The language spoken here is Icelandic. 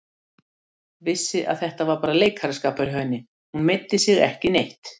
Vissi að þetta var bara leikaraskapur hjá henni, hún meiddi sig ekki neitt.